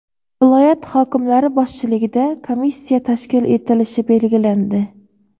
viloyat hokimlari boshchiligida komissiya tashkil etilishi belgilandi.